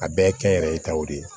A bɛɛ kɛnyɛrɛ ye taw de ye